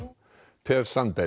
per